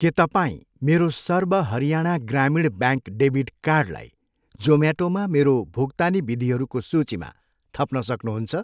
के तपाईँ मेरो सर्व हरियाणा ग्रामीण ब्याङ्क डेबिट कार्डलाई जोम्याटोमा मेरो भुक्तानी विधिहरूको सूचीमा थप्न सक्नुहुन्छ?